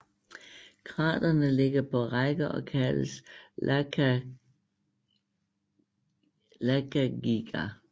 Kraterne ligger på række og kaldes Lakagìgar